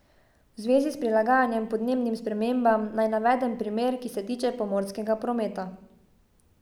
V zvezi s prilagajanjem podnebnim spremembam naj navedem primer, ki se tiče pomorskega prometa.